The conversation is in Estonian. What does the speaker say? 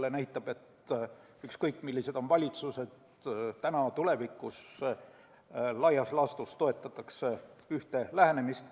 See näitab, et ükskõik millised on valitsused praegu või tulevikus, laias laastus toetatakse ikka ühte lähenemist.